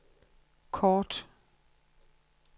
kort